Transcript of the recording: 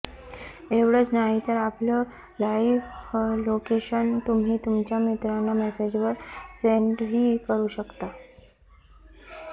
एवढंच नाही तर आपलं लाईव्ह लोकेशन तुम्ही तुमच्या मित्रांना मेसेजवर सेन्डही करू शकता